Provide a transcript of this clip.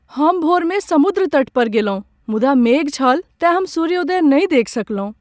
हम भोरमे समुद्र तट पर गेलहुँ, मुदा मेघ छल तेँ हम सूर्योदय नहि देखि सकलहुँ ।